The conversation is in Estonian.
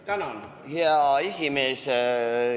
Tänan, hea esimees!